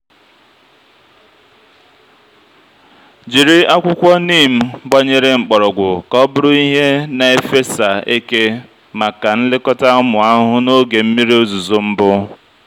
jiri akwụkwọ neem gbanyere mkpọrọgwụ ka ọ bụrụ ihe na-efesa eke maka nlekọta ụmụ ahụhụ n'oge mmiri ozuzo mbụ.